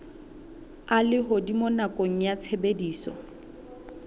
a lehodimo nakong ya tshebediso